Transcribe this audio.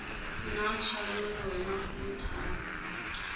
na tshwanelo ya go thaya